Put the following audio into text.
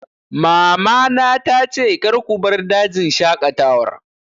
Mama na ta ce 'Kar ku bar dajin shaƙatawar